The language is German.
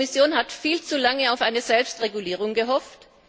Die Kommission hat viel zu lange auf eine Selbstregulierung gehofft.